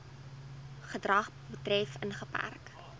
gedrag betref ingeperk